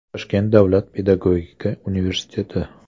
Toshkent davlat pedagogika universiteti.